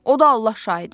O da Allah şahidi.